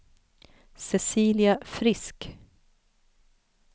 Cecilia Frisk